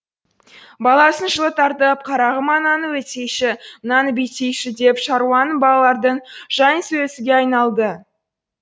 баласын жылы тартып қарағым ананы өйтсейші мынаны бүйтсейші деп шаруаның балалардың жайын сөйлесуге айналды